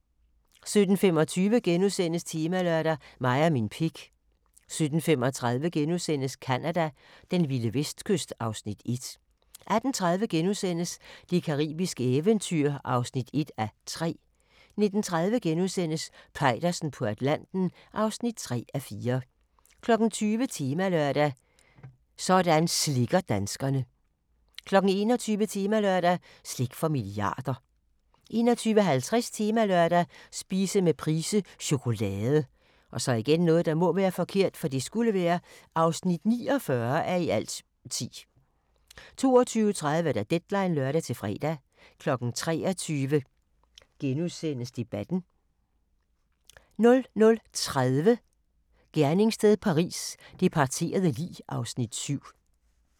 17:25: Temalørdag: Mig og min pik * 17:35: Canada: Den vilde vestkyst (Afs. 1)* 18:30: Det caribiske eventyr (1:3)* 19:30: Peitersen på Atlanten (3:4)* 20:00: Temalørdag: Sådan slikker danskerne 21:00: Temalørdag: Slik for milliarder 21:50: Temalørdag: Spise med Price - chokolade (49:10) 22:30: Deadline (lør-fre) 23:00: Debatten * 00:30: Gerningssted Paris: Det parterede lig (7:12)